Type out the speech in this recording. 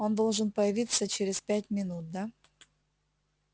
он должен появиться через пять минут да